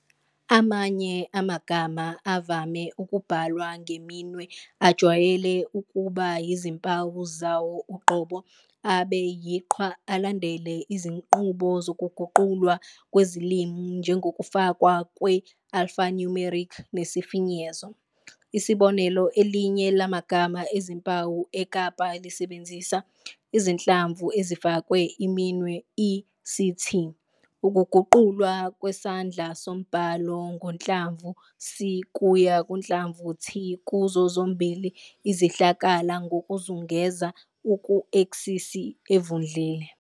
Amanye amagama avame ukubhalwa ngeminwe ajwayele ukuba yizimpawu zawo uqobo, abe "yiqhwa", alandele izinqubo zokuguqulwa kwezilimi njengokufakwa kwe-alphanumeric nesifinyezo. Isibonelo, elinye lamagama ezimpawu eKapa lisebenzisa izinhlamvu ezifakwe iminwe i-"CT", ukuguqulwa kwesandla sombhalo ngohlamvu 'C' kuya kuhlamvu 'T' kuzo zombili izihlakala ngokuzungeza ku-eksisi evundlile.